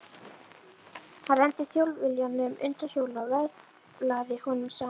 Hann renndi Þjóðviljanum undan hjólinu og vöðlaði honum saman.